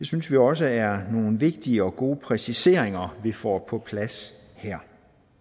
synes vi også er nogle vigtige og gode præciseringer vi får på plads her